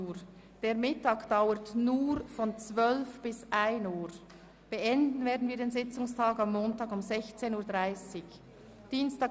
Die Mittagspause dauert nur von 12.00 bis 13.00 Uhr, und beenden werden wir den Sitzungstag am Montag um 16.30 Uhr.